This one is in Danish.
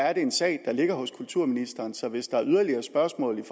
er det en sag der ligger hos kulturministeren så hvis der er yderligere spørgsmål